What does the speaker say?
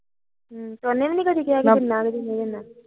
ਉਹਨੇ ਵੀ ਨੀ ਕਿਹਾ ਕਿ ਕਿੰਨਾ ਕੁ ਲੈਣਾ